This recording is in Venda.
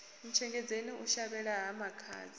ntshengedzeni u shavhela ha makhadzi